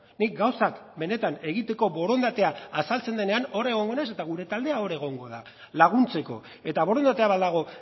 nik gauzak benetan egiteko borondatea azaltzen denean hor egongo naiz eta gure taldea hor egongo da laguntzeko eta borondatea badago